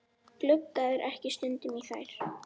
Gluggarðu ekki stundum í þær?